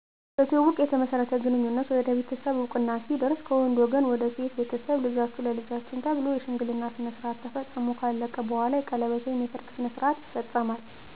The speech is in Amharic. በትውውቅ የተመሠረተ ግንኙነት ወደ ቤተሠብ እወቅና ሲደርስ ከወንድ ወገን ወደ ሴት ቤተሠብ ልጃቹህ ለልጃችን ተብሎ የሽምግልና ስረዓት ተፈፅሞ ከአለቀ በኋላ የቀለበት ወይም የሰርግ ስርዓት ይፈፀማል